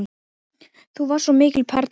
Þú varst svo mikil perla.